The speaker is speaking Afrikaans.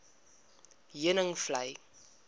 heuningvlei